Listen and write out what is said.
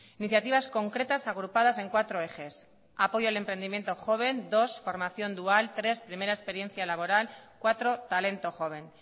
iniciativas concretas agrupadas en cuatro ejes apoyo al emprendimiento joven dos formación dual tres primera experiencia laboral cuatro talento joven